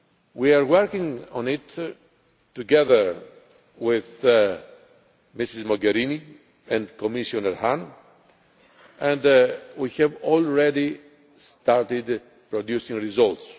We are working on it together with Mrs Mogherini and Commissioner Hahn and we have already started producing results.